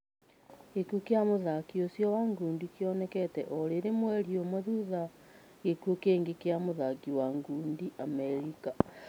Gĩkuo kia mũthaki ũcio wa ngundi kĩonekete o rĩrĩ mweri ũmwe thutha gĩkuo kingi kĩa mũthaki wa ngundi wa Amerika.